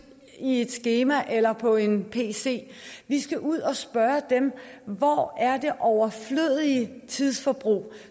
i et skema eller på en pc vi skal ud og spørge dem hvor det overflødige tidsforbrug er